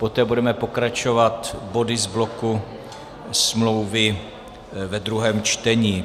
Poté budeme pokračovat body z bloku smlouvy ve druhém čtení.